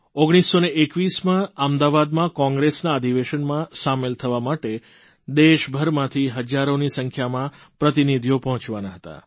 1921માં અમદાવાદમાં કોંગ્રેસના અધિવેશનમાં સામેલ થવા માટે દેશભરમાંથી હજારોની સંખ્યામાં પ્રતિનિધિઓ પહોંચવાના હતા